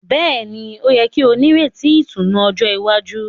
Béèni, o yẹ kí o n'ireti ìtùnú ọjọ iwájú